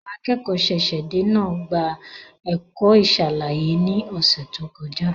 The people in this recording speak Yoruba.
Àwọn akẹ́kọ̀ọ́ ṣẹ̀ṣẹ̀-dé náà gba ẹ̀kọ́ ìṣàlàyé ní ọ̀sẹ̀ tó kọjá.